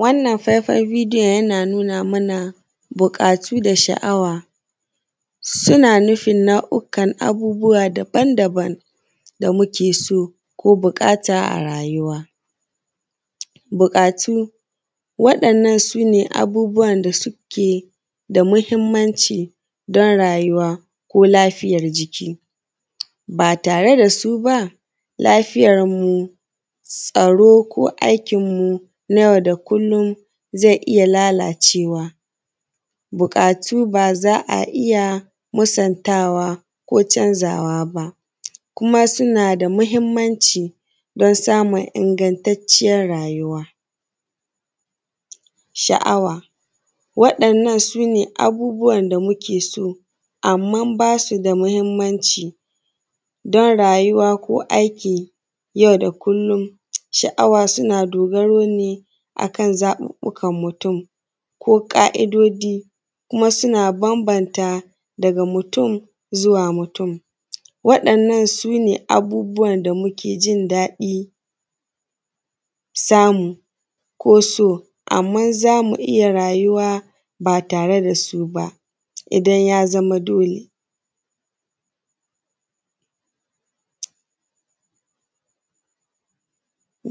Wannan faifayan bidiyon yana nuna mana buƙatu da sha'awa, suna nufin nau’ikan abubuwa daban daban da muke so ko buƙata a rayuwa. Buƙatu waɗannan sune abubuwan da suke da muhimmanci don rayuwa ko lafiyar jiki, ba tare da su ba lafiyar mu tsaro, ko aikin mu na yau da kullun zai iya lalacewa. Buƙatu ba za a misaltawa ko canzawa ba, kuma suna da muhimmanci don samun ingantacciyar rayuwa. Sha'awa waɗannan sune abubuwan da muke so amman ba su da muhimmanci don rayuwa ko aiki yau da kullun, sha'awa suna dogaro ne a kan zaɓuɓukan mutum, ko ƙa'idoji, kuma suna bambata daga mutun zuwa mutun. Waɗannan sune abubuwan da muke jin daɗin samu ko so, amman za mu iya rayuwa ba tare da su ba, idan ya zama dole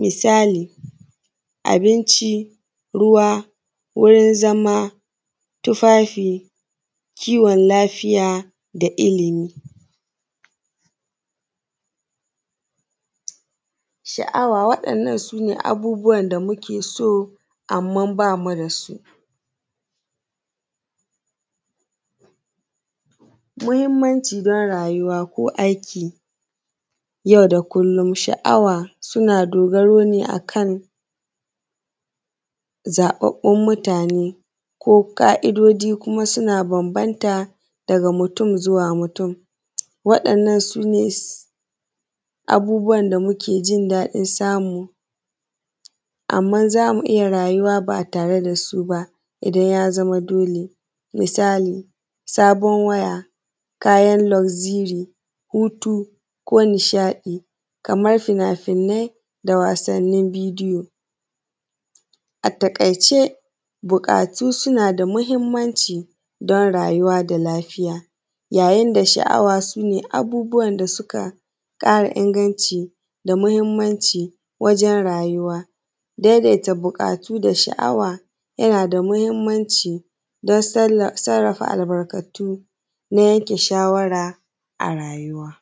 misali abinci, ruwa, wajan zama, tufaffi, kiwon lafiya da illimi. Sha'awa waɗannan sune abubuwan da muke so, amman ba mu da su. Muhimmanci don rayuwa ko aiki yau da kullun sha'awa suna dogaro ne a kan zaɓaɓɓun mutane ko ƙa'idoji kuma suna bambanta daga mutun zuwa mutum. waɗannan sune abubuwan da muke jin daɗin samu amman za mu iya rayuwa ba tare da su ba idan ya zama dole. Misali sabon waya, kayan luxury, hutu, ko nishaɗi kamar finafinai da wasannin bidiyo. A taƙaice buƙatu suna da muhimmanci don rayuwa da lafiya yayin da sha'awa su ne abubuwan suka ƙara inganci da muhimmanci wajan rayuwa. Daidaita buƙatu da sha'awa yana da muhimmanci don sarrafa albarkatun na yanke shawara a rayuwa.